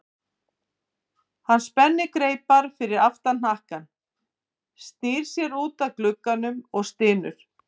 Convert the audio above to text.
Hann spennir greipar fyrir aftan hnakka, snýr sér út að glugga og stynur.